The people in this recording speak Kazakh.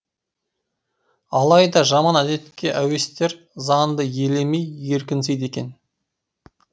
алайда жаман әдетке әуестер заңды елемей еркінсиді екен